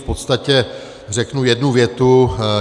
V podstatě řeknu jednu větu.